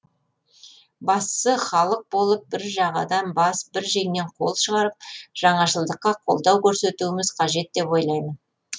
бастысы халық болып бір жағадан бас бір жеңнен қол шығарып жаңашылдыққа қолдау көрсетуіміз қажет деп ойлаймын